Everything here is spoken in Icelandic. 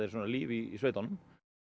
líf í sveitunum